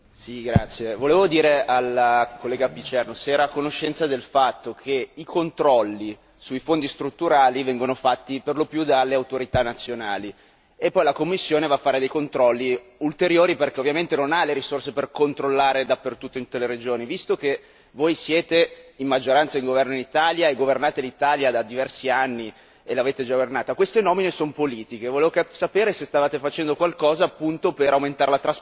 Volevo chiedere alla collega Picierno se era a conoscenza del fatto che i controlli sui Fondi strutturali vengono fatti per lo più dalle autorità nazionali e successivamente la Commissione effettua ulteriori controlli, perché ovviamente non ha le risorse per controllare dappertutto in tutte le regioni. Visto che voi siete la maggioranza di governo in Italia e governate l'Italia da diversi anni e visto che tali nomine sono politiche, volevo sapere se stavate facendo qualcosa per aumentare la trasparenza